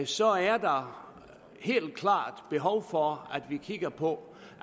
så er der helt klart behov for at vi kigger på